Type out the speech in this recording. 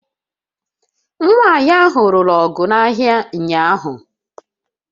Nwanyị ahụ lụrụ ọgụ n'ahịa ụnyahụ